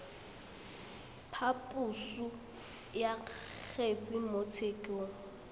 phaposo ya kgetse mo tshekong